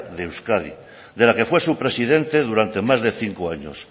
de euskadi de la que fue su presidente durante más de cinco años